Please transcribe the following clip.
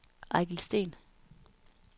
Eigil Steen